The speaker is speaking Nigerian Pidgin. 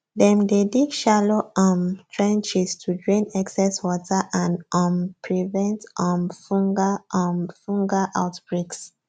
dem dey dig shallow um trenches to drain excess water and um prevent um fungal um fungal outbreaks